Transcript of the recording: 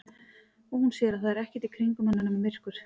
Og hún sér að það er ekkert í kringum hana nema myrkur.